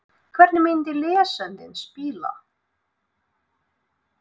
Hvernig myndi lesandinn spila?